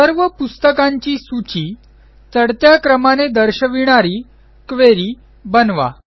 सर्व पुस्तकांची सूची चढत्या क्रमाने दर्शविणारी क्वेरी बनवा